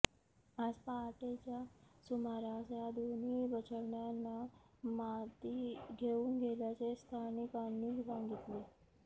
आज पहाटेच्या सुमारास या दोन्ही बछड्यांना मादी घेऊन गेल्याचे स्थानिकांनी सांगितले